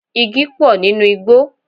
Igi pò nínú igbó.